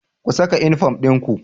Ku saka unifom dinku